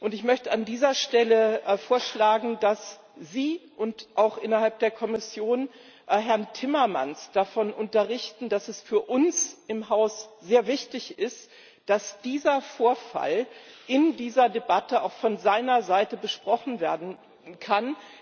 Ich möchte an dieser Stelle vorschlagen, dass Sie auch innerhalb der Kommission Herrn Timmermans davon unterrichten, dass es für uns im Haus sehr wichtig ist, dass dieser Vorfall in dieser Debatte auch von seiner Seite besprochen werden kann.